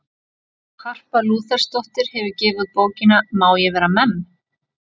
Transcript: Harpa Lúthersdóttir hefur gefið út bókina Má ég vera memm?